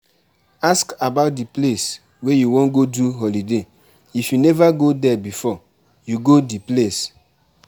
Ask about di place wey you wan go do holiday if you nova go there before you go di place